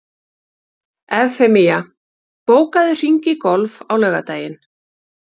Evfemía, bókaðu hring í golf á laugardaginn.